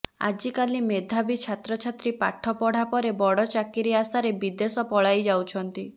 ଆଜିକାଲି ମେଧାବି ଛାତ୍ରଛାତ୍ରୀ ପାଠ ପଢ଼ାପରେ ବଡ଼ ଚାକିରି ଆଶାରେ ବିଦେଶ ପଳାଇଯାଉଛନ୍ତି